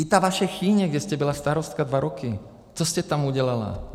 I ta vaše Chýně, kde jste byla starostkou dva roky - co jste tam udělala?